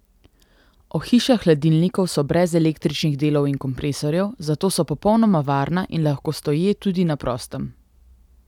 Ohišja hladilnikov so brez električnih delov in kompresorjev, zato so popolnoma varna in lahko stoje tudi na prostem.